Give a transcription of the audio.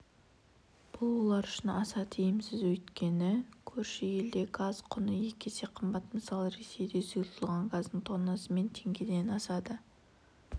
бұл олар үшін аса тиімсіз өйткені көрші елде газ құны екі есе қымбат мысалы ресейде сұйытылған газдың тоннасы мың теңгеден сатылса